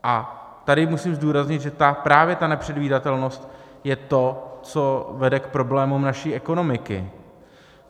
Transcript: A tady musím zdůraznit, že právě ta nepředvídatelnost je to, co vede k problémům naší ekonomiky.